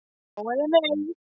Já eða nei!